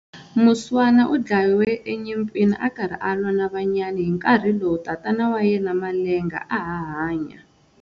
Muswana u dlawe enyimpini a karhi a lwa na Vanyayi hi nkarhi lowu tatana wa yena Malenga a ha hanya.